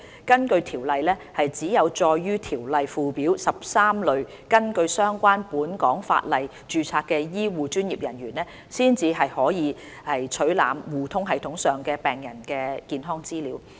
根據《條例》，只有載於《條例》附表的13類根據相關本港法例註冊的醫護專業人員，方可取覽互通系統上病人的健康資料。